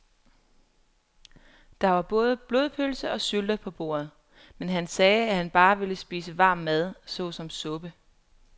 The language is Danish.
Der var både blodpølse og sylte på bordet, men han sagde, at han bare ville spise varm mad såsom suppe.